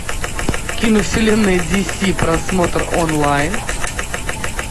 кино вселенная ди си просмотр онлайн